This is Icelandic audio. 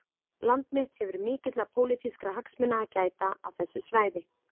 Land mitt hefur mikilla pólitískra hagsmuna að gæta á þessu svæði